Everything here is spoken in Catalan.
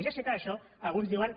ja sé que d’això alguns en diuen